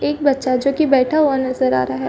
एक बच्चा जो कि बैठा हुआ नजर आ रहा है।